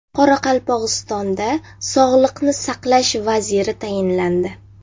Qoraqalpog‘istonda sog‘liqni saqlash vaziri tayinlandi.